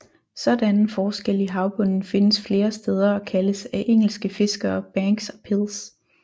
Sådanne forskelle i havbunden findes flere steder og kaldes af engelske fiskere banks og pils